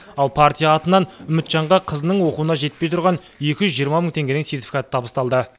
ал партия атынан үмітжанға қызының оқуына жетпей тұрған екі жүз жиырма мың теңгенің сертификаты табысталды